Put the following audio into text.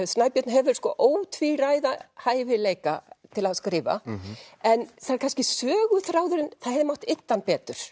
Snæbjörn hefur ótvíræða hæfileika til að skrifa en það er kannski söguþráðurinn það hefði mátt ydda hann betur